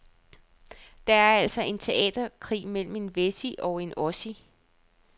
Det er altså en teaterkrig mellem en wessie og en ossie.